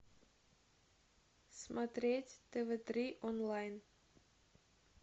смотреть тв три онлайн